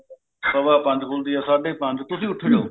ਸਵਾ ਪੰਜ `ਖੁਲਦੀ ਐ ਸਾਡੇ ਪੰਜ